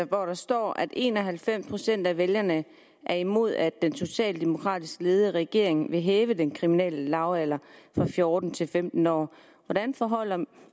hvor der står at en og halvfems procent af vælgerne er imod at den socialdemokratisk ledede regering vil hæve den kriminelle lavalder fra fjorten til femten år hvordan forholder